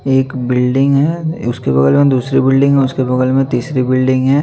एक बिल्डिंग है उसके बगल में दूसरी बिल्डिंग है उसके बगल में तीसरी बिल्डिंग है।